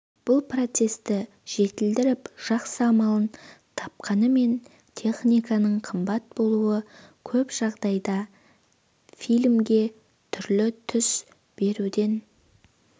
бұл процесті жетілдіріп жақсы амалын тапқанымен техниканың қымбат болуы көп жағдайда фильмге түрлі түс беруден